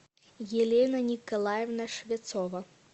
елена николаевна швецова